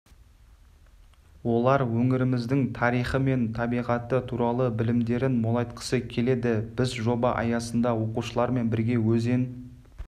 олар өңіріміздің тарихы мен табиғаты туралы білімдерін молайтқысы келеді біз жоба аясында оқушылармен бірге өзен